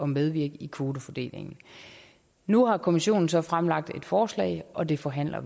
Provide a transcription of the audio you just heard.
medvirke i kvotefordelingen nu har kommissionen så fremlagt et forslag og det forhandler